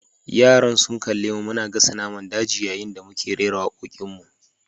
Yara sun kalli mu muna gasa naman daji yayin da muke rera wakokinmu.